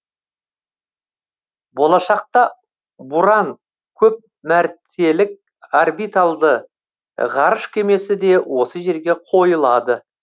болашақта буран көпмәртелік орбитальды ғарыш кемесі де осы жерге қойылады